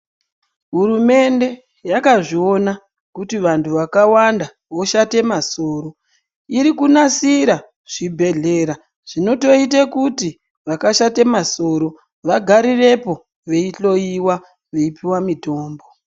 Hurumende yakazviona kuti vanthu vakwanda voshate masoro iri kunasire zvibhedhlera zvinotoita kuti vakashate masoro vagarirepo veihloyiwa veipuwe mitombo.